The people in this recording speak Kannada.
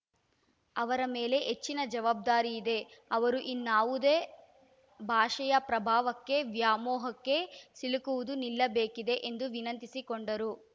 ಅವರ ಮೇಲೆ ಹೆಚ್ಚಿನ ಜವಾಬ್ದಾರಿಯಿದೆ ಅವರು ಇನ್ನಾವುದೋ ಭಾಷೆಯ ಪ್ರಭಾವಕ್ಕೆ ವ್ಯಾಮೋಹಕ್ಕೆ ಸಿಲುಕುವುದು ನಿಲ್ಲಬೇಕಿದೆ ಎಂದು ವಿನಂತಿಸಿಕೊಂಡರು